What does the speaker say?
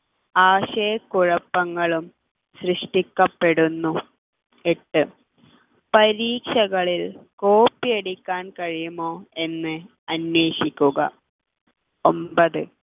ആശയ കുഴപ്പങ്ങളും സൃഷ്ടിക്കപ്പെടുന്നു എട്ട് പരീക്ഷകളിൽ കോപ്പിയടിക്കാൻ കഴിയുമോ എന്ന് അന്വേഷിക്കുക ഒമ്പത്